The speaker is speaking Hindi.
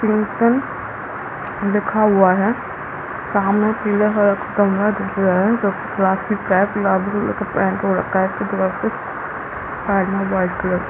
ब्लूसिंग्टन लिखा हुआ है सामने पीला कलर का कमरा दिख रहा है जो की प्लास्टिक का है गुलाबी कलर से पेंट हो रखा है कपड़ा से साइड में वाइट कलर का--